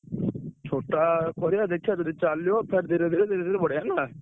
ଛୋଟ କରିଆ ଦେଖିଆ ଯଦି ଚାଲିବ ଫେରେ ଧୀରେ ଧୀରେ ଧୀରେ ଧୀରେ ବଢିଆ ନା?